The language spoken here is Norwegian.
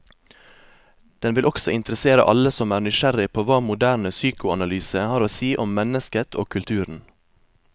Den vil også interessere alle som er nysgjerrig på hva moderne psykoanalyse har å si om mennesket og kulturen.